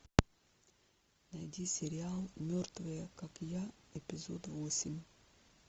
найди сериал мертвые как я эпизод восемь